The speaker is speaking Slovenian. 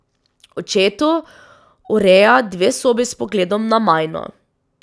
Očetu ureja dve sobi s pogledom na Majno.